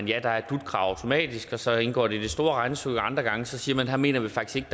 ja der er et dut krav automatisk og så indgår det i det store regnestykke andre gange siger man at her mener vi faktisk